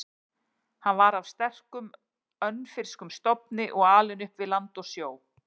Hann var af sterkum, önfirskum stofni og alinn upp við land og sjó.